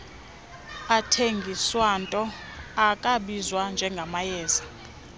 athengiswato akwabizwa njengamayeza